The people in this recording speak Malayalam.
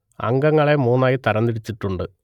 അംഗങ്ങളെ മൂന്നായി തരംതിരിച്ചിട്ടുണ്ട്